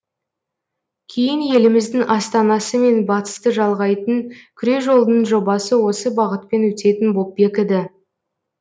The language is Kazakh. кейін еліміздің астанасы мен батысты жалғайтын күре жолдың жобасы осы бағытпен өтетін боп бекіді